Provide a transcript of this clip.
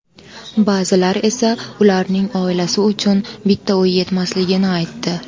Ba’zilar esa ularning oilasi uchun bitta uy yetmasligini aytdi.